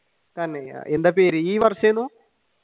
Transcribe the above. എന്താ പേര് ഈ വര്ഷം ആയിരുന്നു?